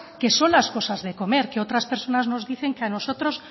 que son las cosas de comer que otras personas nos dicen que a nosotros